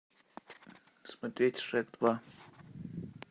смотреть шрек два